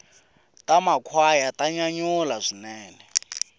ta makhwaya ta nyanyula swinene